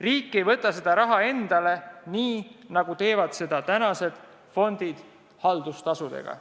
Riik ei võta seda raha endale, nii nagu teevad seda praegused fondid haldustasudega.